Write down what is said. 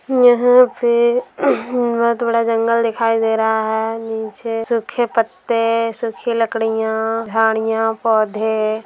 यहाँ पे बहुत बड़ा जंगल दिखाई दे रहा है नीचे सूखे पत्ते सुखी लकड़ियां झाड़ियां पौध --